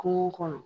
Kungo kɔnɔ